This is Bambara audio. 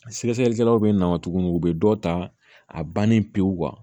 Sɛgɛsɛgɛlikɛlaw bɛ na tuguni u bɛ dɔ ta a bannen pewu